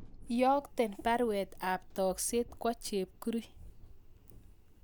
Iyokten baruet ab tokset kwo Chepkirui